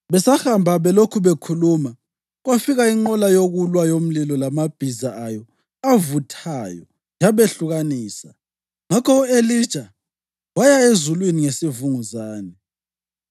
Besahamba belokhu bekhuluma, kwafika inqola yokulwa yomlilo lamabhiza ayo avuthayo yabehlukanisa, ngakho u-Elija waya ezulwini ngesivunguzane.